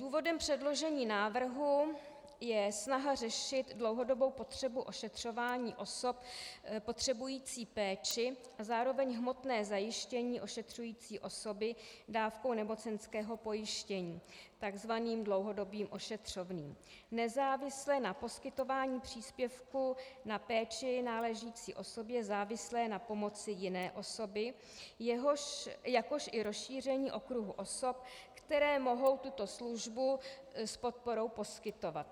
Důvodem předložení návrhu je snaha řešit dlouhodobou potřebu ošetřování osob potřebující péči a zároveň hmotné zajištění ošetřující osoby dávkou nemocenského pojištění, takzvaným dlouhodobým ošetřovným, nezávisle na poskytování příspěvku na péči náležícího osobě závislé na pomoci jiné osoby, jakož i rozšíření okruhu osob, které mohou tuto službu s podporou poskytovat.